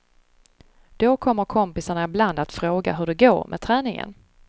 Då kommer kompisarna ibland att fråga hur det går med träningen.